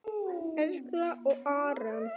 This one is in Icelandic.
Erla og Árni.